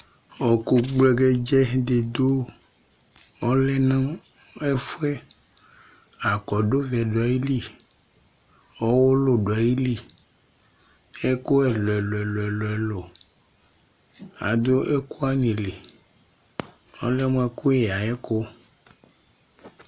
Ɔɔkʋ gblɛgɛdzɛ dɩ dʋ ,ɔlɛ nʋ ǝfʋɛ Akɔdʋvɛ dʋ ayili ,ɔwʋlʋ dʋ ayili ,ɛkʋ ɛlʋɛlʋɛlʋɛlʋɛlʋ adʋ ɛkʋwanɩ li ɔlɛ mʋ ɛkʋyɛ ay'ɛkʋ